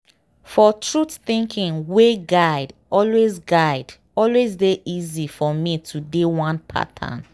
for truth thinking way guide always guide always dey easy for me to dey one pattern.